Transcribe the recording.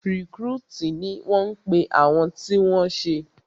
Rìkrútìì ni wọ́n pe àwọn tí wọ́n ṣé